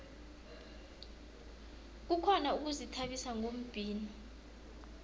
kukhona ukuzithabisa ngombhino